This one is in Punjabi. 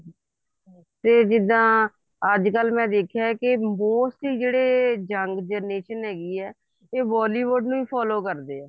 ਫ਼ੇਰ ਜਿੱਦਾਂ ਅੱਜਕਲ ਮੈਂ ਦੇਖਿਆ mostly ਜਿਹੜੇ young generation ਹੈਗੀ ਹੈ ਇਹ bollywood ਨੂੰ follow ਕਰਦੀ ਹੈ